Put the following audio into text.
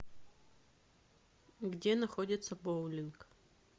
где находится боулинг